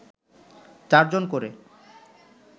চারজন করে